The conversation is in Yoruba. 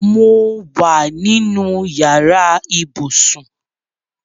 Mo wa nínú yàrá ibùsùn